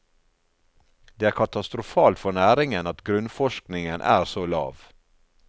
Det er katastrofalt for næringen at grunnforskningen er så lav.